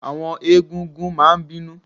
Àwọn egún-gún máa n bínú